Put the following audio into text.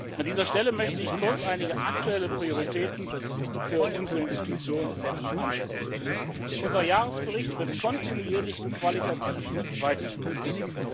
An dieser Stelle möchte ich kurz einige aktuelle Prioritäten für unsere Institution ansprechen. Unser Jahresbericht wird kontinuierlich qualitativ weiterentwickelt.